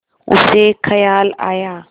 उसे ख़याल आया